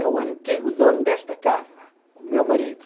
É o antigo dono desta casa, o meu marido.